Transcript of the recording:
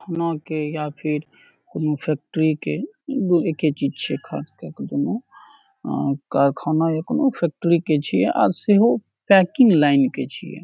ना के या फिर कोनो फैक्ट्री के दू एके चीज छै खास केए के दोनो अ कारखाना या फैक्ट्री के छीये आ से हो पेकिंग लाइन के छीये।